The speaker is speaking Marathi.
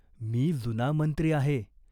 मी जुना मंत्री आहे.